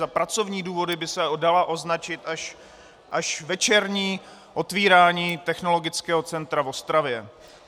Za pracovní důvody by se dalo označit až večerní otvírání Technologického centra v Ostravě.